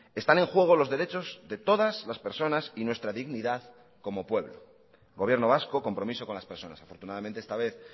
están en juego los derechos de todas las personas y nuestra dignidad como pueblo gobierno vasco compromiso con las personas afortunadamente esta vez